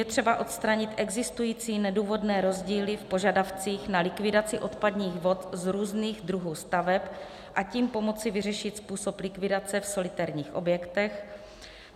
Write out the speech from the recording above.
Je třeba odstranit existující nedůvodné rozdíly v požadavcích na likvidaci odpadních vod u různých druhů staveb, a tím pomoci vyřešit způsob likvidace v solitérních objektech;